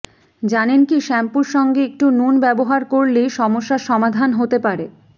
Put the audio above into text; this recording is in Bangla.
জানেন কি শ্যাম্পুর সঙ্গে একটু নুন ব্যবহার করলেই সমস্যার সমাধান হতে পারে